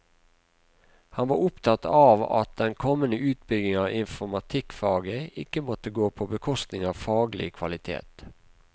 Han var opptatt av at den kommende utbygging av informatikkfaget ikke måtte gå på bekostning av faglig kvalitet.